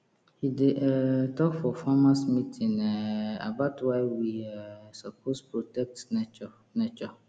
he dey um talk for farmers meeting um about why we um suppose protect nature nature